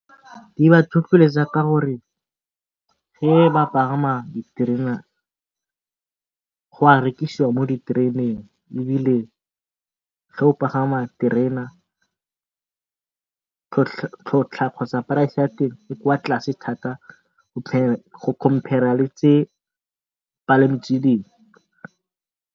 Di ba tlhotlheletsa ka gore ge ba pagama diterena gwa rekisiwa mo ditereneng, ebile ge o pagama terena tlhotlhwa kgotsa price ya teng e kwa tlase thata go compare-a le dipalamo tse dingwe.